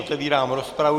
Otevírám rozpravu.